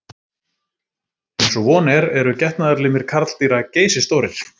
Eins og von er eru getnaðarlimir karldýra geysistórir.